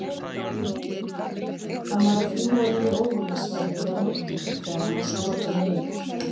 Hann var að fljúga yfir óvinasvæðið að nóttu til þegar hann var skotinn niður.